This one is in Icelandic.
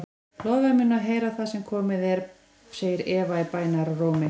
Lofaðu mér að heyra það sem komið er, segir Eva í bænarrómi.